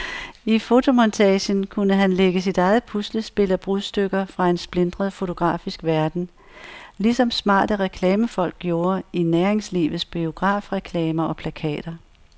I fotomontagen kunne han lægge sit eget puslespil af brudstykker fra en splintret fotografisk verden, ligesom smarte reklamefolk gjorde i næringslivets biografreklamer og plakater.